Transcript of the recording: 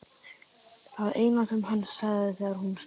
Það eina sem hann sagði þegar hún spurði.